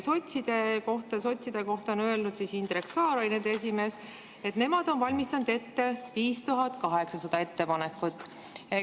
" Sotside kohta on öelnud Indrek Saar, kes oli nende esimees, et nemad on valmistanud ette 5800 ettepanekut.